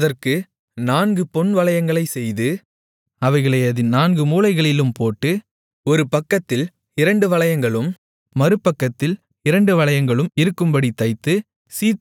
அதற்கு நான்கு பொன் வளையங்களைச் செய்து அவைகளை அதின் நான்கு மூலைகளிலும் போட்டு ஒரு பக்கத்தில் இரண்டு வளையங்களும் மறுபக்கத்தில் இரண்டு வளையங்களும் இருக்கும்படித் தைத்து